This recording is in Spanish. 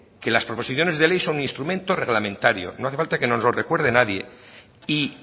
que las proposiciones de ley son instrumentos reglamentarios no hace falta que nos lo recuerde nadie y